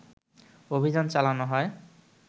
অভিযান চালানো হয়